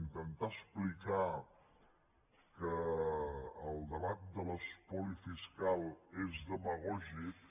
intentar explicar que el debat de l’espoli fiscal és demagògic